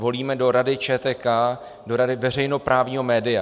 Volíme do Rady ČTK, do rady veřejnoprávního média.